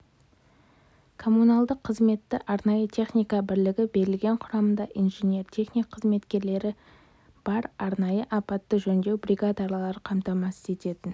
коммуналдық қызметті арнайы техника бірлігі берілген құрамында инженер-техник қызметкерлері бар арнайы апатты-жөндеу бригадалары қамтамасыз ететін